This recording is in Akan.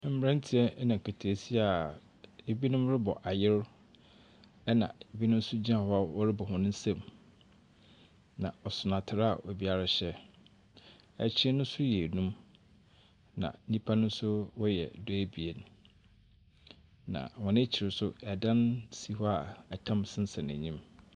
Mbrantse na nketeesia a binom robɔ ayer, na binom nso gyina hɔ a wɔrobɔ hɔn nsamu, na ɔson atar a obiara hyɛ. Akyen no nso yɛ enum, na nyimpa no nso wɔyɛ du-ebien. Na hɔn ekyir nso, dan si hɔ a tam sensɛn enyim.